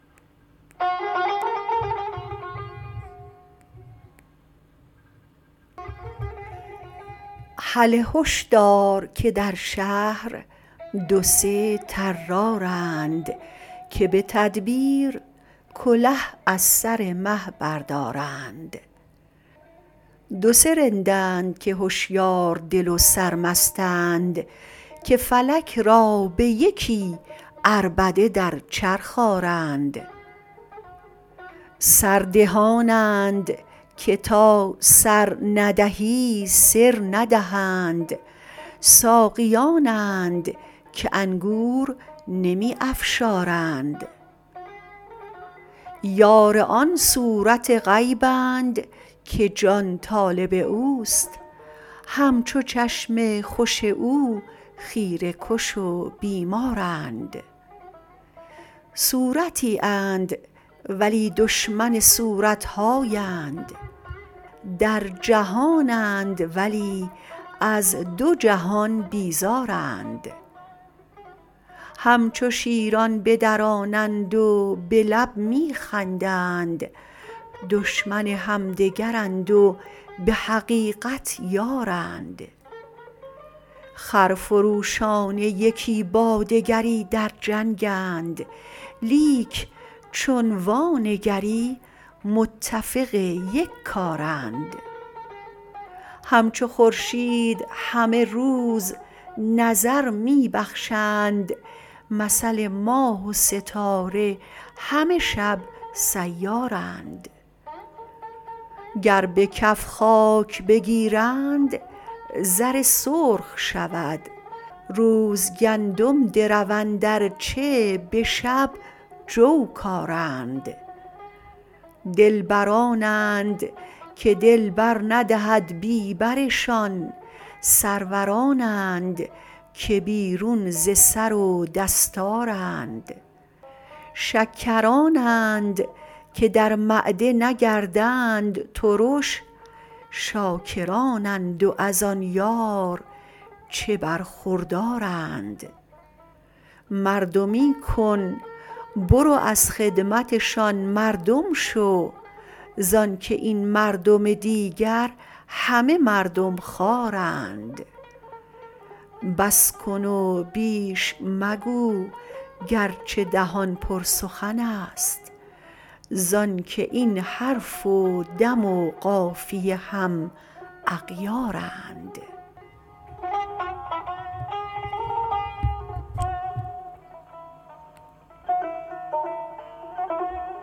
هله هش دار که در شهر دو سه طرارند که به تدبیر کله از سر مه بردارند دو سه رندند که هشیار دل و سرمستند که فلک را به یکی عربده در چرخ آرند سر دهانند که تا سر ندهی سر ندهند ساقیانند که انگور نمی افشارند یار آن صورت غیبند که جان طالب اوست همچو چشم خوش او خیره کش و بیمارند صورتی اند ولی دشمن صورت هایند در جهانند ولی از دو جهان بیزارند همچو شیران بدرانند و به لب می خندند دشمن همدگرند و به حقیقت یارند خرفروشانه یکی با دگری در جنگند لیک چون وانگری متفق یک کارند همچو خورشید همه روز نظر می بخشند مثل ماه و ستاره همه شب سیارند گر به کف خاک بگیرند زر سرخ شود روز گندم دروند ار چه به شب جو کارند دلبرانند که دل بر ندهد بی برشان سرورانند که بیرون ز سر و دستارند شکرانند که در معده نگردند ترش شاکرانند و از آن یار چه برخوردارند مردمی کن برو از خدمتشان مردم شو زان که این مردم دیگر همه مردم خوارند بس کن و بیش مگو گرچه دهان پر سخنست زان که این حرف و دم و قافیه هم اغیارند